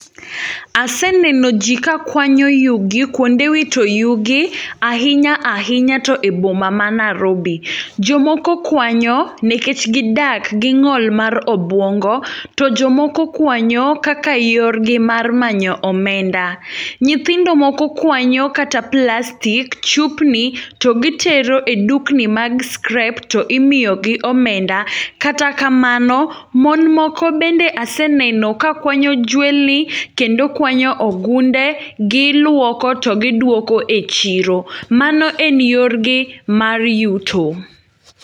Aseneno ji ka kwanyo yugi kwonde wito yugi. Ahinya ahinya to e boma ma Nairobi. Jomoko kwanyo nikech gidak gi ng'ol mar obwongo, to jomoko kwanyo kaka yor gi mar manyo omenda. Nyithindo moko kwanyo kata plastik, chupni, to gitero e dukni mag scrap to imiyogi omenda. Kata kamano, mon moko bende aseneno ka kwanyo jwendni, kendo kwanyo ogunde, giluoko to giduoko e chiro. Mano en yorgi mar yuto.